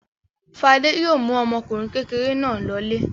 Fade yóò mú ọmọkùnrin kékeré náà lọlé.